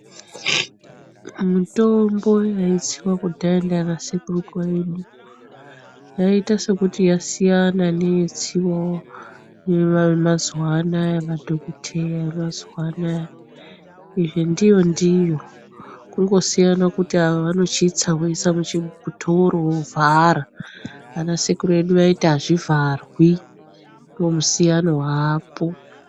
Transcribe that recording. Mitombo yaitsiva kudhaya ndiana sekuru edu yaiita sekuti yaita sekuti yasiyana neyaitsivavo mazuva anaya madhokoteya mazuva anaya. Izvi ndiyo-ndiyo kungosiyana kuti ava vanochitsa voisa muchidhoro vovhara. Ana sekuru vedu vaiti hazvivharwi ndomusiyano vapo.